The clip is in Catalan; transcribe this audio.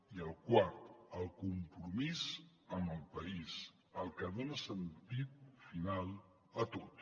i el quart el compromís amb el país el que dona sentit final a tot